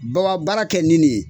Baba baara kɛ ni nin ye